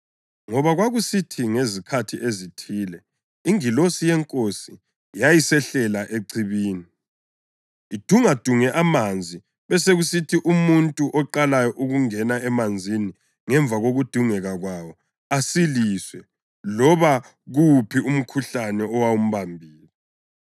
ngoba kwakusithi ngezikhathi ezithile ingilosi yeNkosi yayisehlela echibini, idungadunge amanzi besekusithi umuntu oqalayo ukungena emanzini ngemva kokudungeka kwawo asiliswe loba kuwuphi umkhuhlane owawumbambile]. + 5.4 Livesi kayikho kwamanye amaBhayibhili esiLungu.